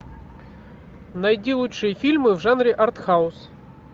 найди лучшие фильмы в жанре артхаус